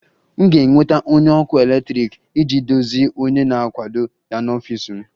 M ga-enweta onye ọkụ eletrik iji dozie onye na-akwado ya n'ọfịs m